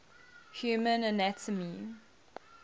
human anatomy